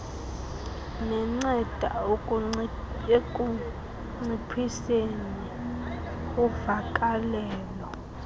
nenceda ekunciphiseni uvakalelo